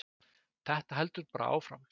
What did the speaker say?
Þetta heldur bara áfram.